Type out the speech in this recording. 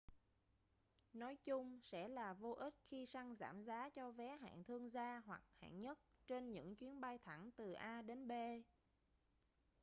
nói chung sẽ là vô ích khi săn giảm giá cho vé hạng thương gia hoặc hạng nhất trên những chuyến bay thẳng từ a đến b